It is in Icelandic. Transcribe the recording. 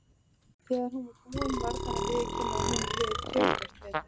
Þegar hún var búin varð hann að viðurkenna að honum liði töluvert betur.